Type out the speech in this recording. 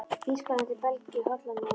Þýskalandi, Belgíu, Hollandi og á Íslandi.